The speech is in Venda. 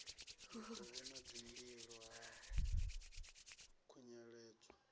mikovhe na dzimbilo ha khunyeledzwa